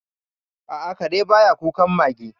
A'a, kare ba ya kukan mage.